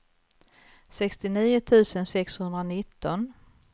sextionio tusen sexhundranitton